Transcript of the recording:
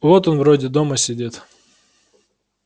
вот он вроде дома сидит